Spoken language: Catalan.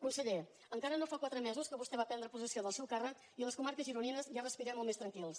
conseller encara no fa quatre mesos que vostè va prendre possessió del seu càrrec i a les comarques gironines ja respirem molt més tranquils